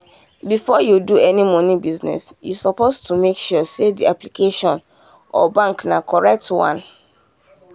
before you do any money business you suppose to make sure say the application or bank na correct one.